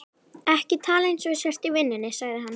Ekki tala eins og þú sért í vinnunni, sagði hann.